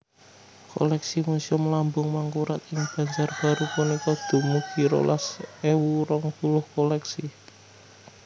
Koleksi Muséum Lambung Mangkurat ing Banjarbaru punika dumugi rolas ewu rong puluh koleksi